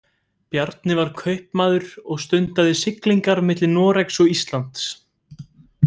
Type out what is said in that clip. Bjarni var kaupmaður og stundaði siglingar milli Noregs og Íslands.